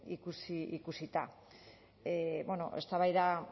ikusita eztabaida